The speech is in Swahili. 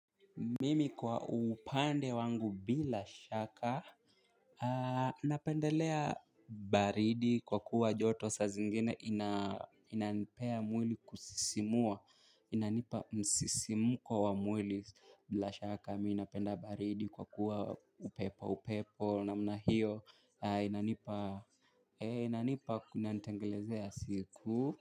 Mimi kwa upande wangu bila shaka napendelea baridi kwa kuwa joto sa zingine ina inanipea mwili kusisimua. Inanipa msisimko wa mwili bila shaka mimi napenda baridi kwa kuwa upepo upepo namna hiyo inanipa inanipa kunantengelezea siku.